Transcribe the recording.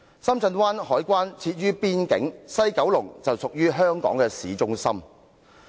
深圳灣海關設於邊境，西九龍則位處香港的市中心。